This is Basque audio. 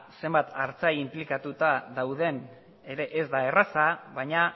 zenbait artzain inplikatuta dauden ere ez da erraza baina